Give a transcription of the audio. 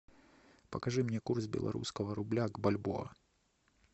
покажи мне курс белорусского рубля к бальбоа